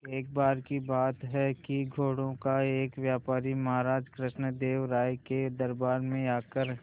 एक बार की बात है कि घोड़ों का एक व्यापारी महाराज कृष्णदेव राय के दरबार में आकर